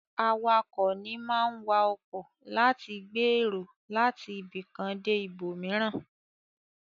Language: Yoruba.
Awakọ̀ ní máa ń wa ọkọ láti gbé èrò láti ibìkan dé ibòmìíràn.